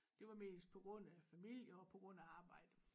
Det var mest på grund af familie og på grund af arbejde